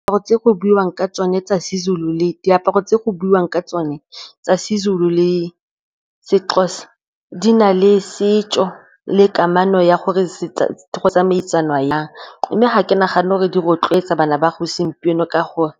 Diaparo tse go buiwang ka tsone tsa Sezulu le Sexhosa di na le setso le kamano ya gore go tsamaisana jang. Mme ga ke nagane gore di rotloetsa bana ba segompieno ka gore